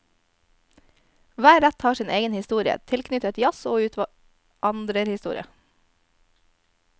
Hver rett har sin egen historie, tilknyttet jazz og utvandrerhistorie.